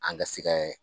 An ka se kɛ